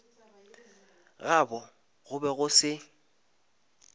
gabo go be go se